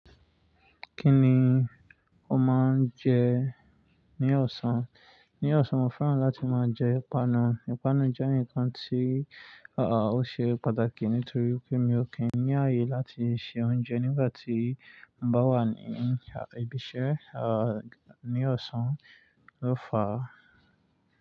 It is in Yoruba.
Kí ni o máa ń jẹ ní ọ̀sán? Ní ọ̀sán, mo fẹ́ràn láti máa jẹ ìpanu. Ìpanu jẹ́ ǹnkan tí, aa ò ṣe pàtàkì nítorí pé mi ò kí ń ní ààyè láti se oúnjẹ nígbà tí mo bá wà ní, ibi iṣẹ́ a, ní ọ̀sán. Lo fa.